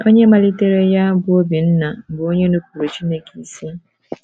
Onye malitere ya, bụ́ Obinna, bụ onye nupụụrụ Chineke isi.